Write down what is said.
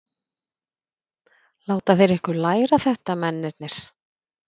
Láta þeir ykkur læra þetta mennirnir?